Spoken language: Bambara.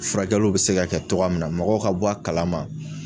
Furakɛliw bɛ se ka kɛ cogoya min na, mɔgɔw ka bɔ a kalama.